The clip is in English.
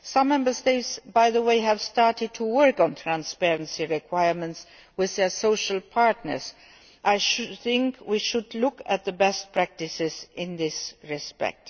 law. Some Member States, by the way, have started to work on transparency requirements with the social partners, and I think we should look at the best practices in this respect.